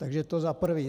Takže to za prvé.